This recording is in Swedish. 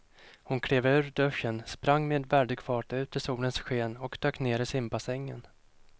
Hon klev ur duschen, sprang med väldig fart ut i solens sken och dök ner i simbassängen.